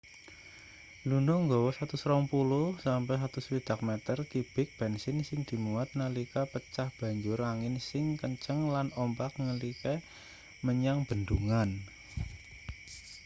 luno nggawa 120-160 meter kibik bensin sing dimuat nalika pecah banjur angin sing kenceng lan ombak ngilekke menyang bendungan